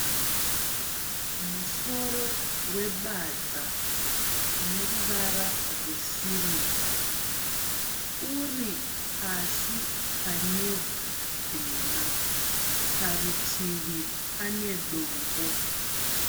Musoro webadza une ruvara rwesirivha uri pasi panevhu dema parutivi pane dombo.